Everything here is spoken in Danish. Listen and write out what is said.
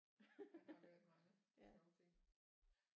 Der har været meget sjove ting